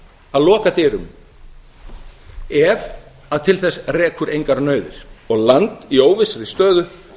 að loka dyrum ef til þess rekur engar nauðir og land í óvissri stöðu